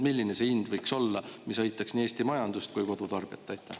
Milline see hind võiks olla, mis aitaks nii Eesti majandust kui kodutarbijat?